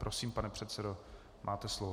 Prosím, pane předsedo, máte slovo.